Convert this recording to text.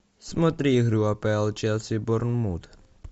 смотри игру апл челси борнмут